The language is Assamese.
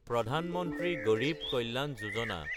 প্ৰধান মন্ত্ৰী গড়ীব কল্যাণ যোজনা